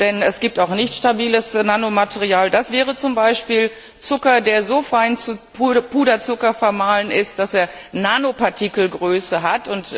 Denn es gibt auch nicht stabiles Nanomaterial, das wäre zum Beispiel Zucker, der so fein zu Puderzucker vermahlen ist, dass er Nanopartikelgröße hat.